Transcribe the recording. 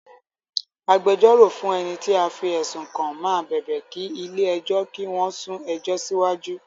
Agbẹjọ́rò fún ẹni tí a fí ẹ̀sùn kàn máa bẹ̀bẹ̀ kí ilé ẹjọ́ kí wón sún ẹjọ́ síwájú